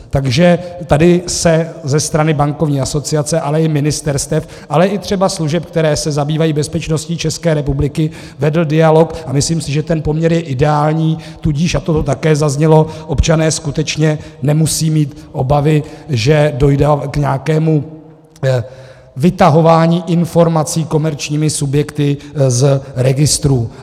Takže tady se ze strany bankovní asociace, ale i ministerstev, ale i třeba služeb, které se zabývají bezpečností České republiky, vedl dialog, a myslím si, že ten poměr je ideální, tudíž, a to tu také zaznělo, občané skutečně nemusejí mít obavy, že dojde k nějakému vytahování informací komerčními subjekty z registrů.